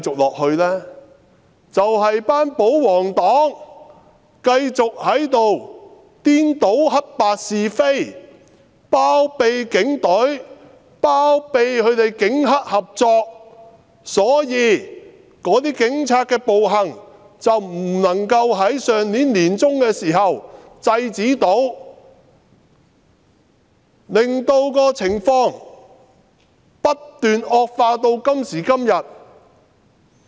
便是因為保皇黨繼續在這裏顛倒黑白是非，包庇警隊，包庇警黑合作，所以警察的暴行未能在上年年中受到制止，令情況不斷惡化至今。